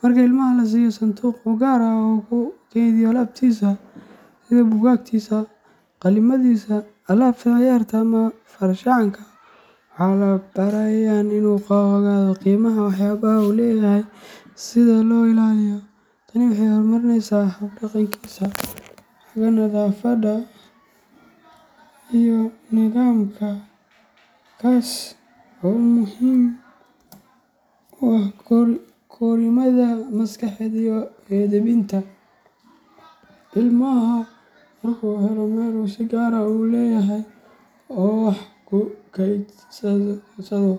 Marka ilmaha la siiyo sanduuq u gaar ah oo uu ku kaydiyo alaabtiisa sida buugaagtiisa, qalimadiisa, alaabta ciyaarta, ama farshaxankiisa, waxaa la barayaa in uu ogaado qiimaha waxyaabaha uu leeyahay iyo sida loo ilaaliyo. Tani waxay horumarinaysaa hab dhaqankiisa xagga nadaafadda iyo nidaamka, taas oo muhiim u ah korriimada maskaxeed iyo edbinta. Ilmaha marka uu helo meel uu si gaar ah u leeyahay oo wax ku kaydsado, wuxuu